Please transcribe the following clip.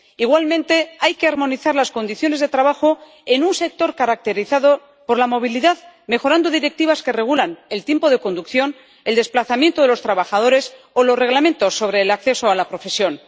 Igualmente, hay que armonizar las condiciones de trabajo en un sector caracterizado por la movilidad, mejorando las directivas que regulan el tiempo de conducción, el desplazamiento de los trabajadores o los reglamentos sobre el acceso a la profesión.